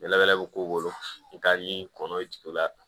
Ni layɛ bi k'u bolo n'i kɔnɔ jigin o la